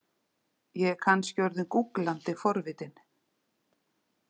Ég er kannski orðin gúglandi forvitin.